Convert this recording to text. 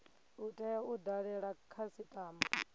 u tea u dalela khasitama